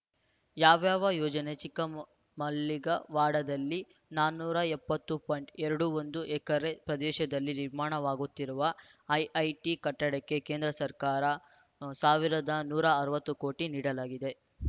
ಯಾವ್ಯಾವ ಯೋಜನೆ ಚಿಕ್ಕ ಮ ಮಲ್ಲಿಗವಾಡದಲ್ಲಿ ನಾನೂರ ಎಪ್ಪತ್ತು ಪಾಯಿಂಟ್ ಎರಡು ಒಂದು ಎಕರೆ ಪ್ರದೇಶದಲ್ಲಿ ನಿರ್ಮಾಣವಾಗುತ್ತಿರುವ ಐಐಟಿ ಕಟ್ಟಡಕ್ಕೆ ಕೇಂದ್ರ ಸರ್ಕಾರ ಸಾವಿರದ ನೂರ ಅರವತ್ತು ಕೋಟಿ ನೀಡಲಾಗಿದೆ